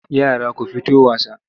Yara ku fito wasa!